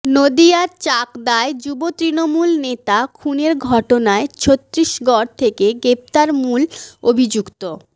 নদিয়ার চাকদায় যুব তৃণমূল নেতা খুনের ঘটনায় ছত্তীসগঢ় থেকে গ্রেফতার মূল অভিযুক্ত